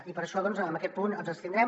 i per això doncs en aquest punt ens abstindrem